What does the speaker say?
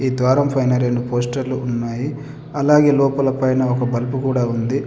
ఈ ద్వారం ఫైన రెండు పోస్టర్లు ఉన్నాయి అలాగే లోపల పైన ఒక బల్బు కూడా ఉంది.